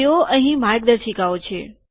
જુઓ અહીં માર્ગદર્શિકાઓ છે